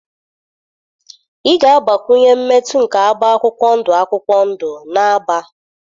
Ị ga-agbakwunye mmetụ nke agba akwụkwọ ndụ akwụkwọ ndụ na agba.